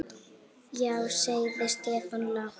Já sagði Stefán lágt.